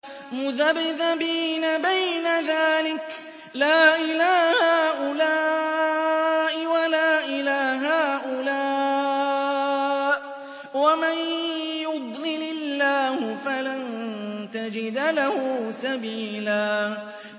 مُّذَبْذَبِينَ بَيْنَ ذَٰلِكَ لَا إِلَىٰ هَٰؤُلَاءِ وَلَا إِلَىٰ هَٰؤُلَاءِ ۚ وَمَن يُضْلِلِ اللَّهُ فَلَن تَجِدَ لَهُ سَبِيلًا